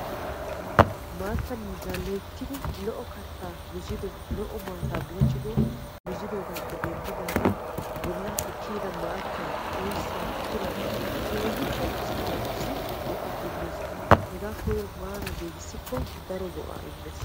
Maatta miizzaa loyttidi lo'o kattaa miizzido lo"o maataa buuccidi miizidogappe denddidaagan bollaappe kiyida maattay oyssay pilay keehippe asaa naatussi go"aa immees. hegaa koyro maaran giigissikko daro go"aa immees.